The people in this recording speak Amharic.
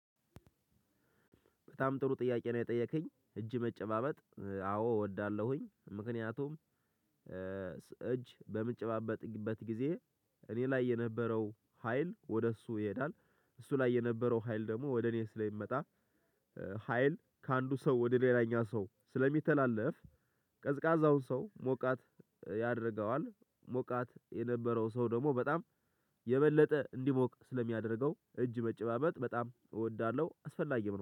በጣም ጥሩ ጥያቄ ነው የጠየከኝ እጅ መጨባበጥ አዎ እወዳለሁኝ ምክንያቱም እጅ በምጨባበጥበት ጊዜ። እኔ ላይ የነበረው ሀይል ወደ እሱ ይሄዳል። እሱ ላይ የነበረው ሀይል ደግሞ ወደ እኔ ስለሚመጣ። ሀይል ከአንዱ ሰው ወደ ሌላኛው ሰው ስለሚተላለፍ። ቀዝቃዛውን ሰው ሞቃት ያደርገዋል። ሞቃት የነበረው ሰው ደግሞ በጣም የበለጠ እንዲሞቅ ስለሚያደርገው እጅ መጨባበጥ በጣም እወዳለሁ አስፈላጊም ነው